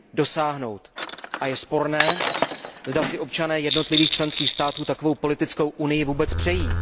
dosáhnout. A je sporné, zda si občané jednotlivých členských států takovou politickou unii vůbec přejí.